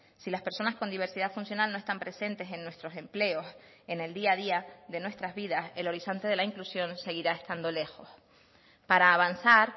si las personas con diversidad funcional no están presentes en nuestros empleos en el día a día de nuestras vidas el horizonte de la inclusión seguirá estando lejos para avanzar